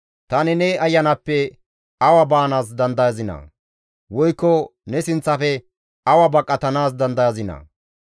Tani ne Ayanappe awa baanaas dandayazinaa? Woykko ne sinththafe awa baqatanaas dandayazinaa?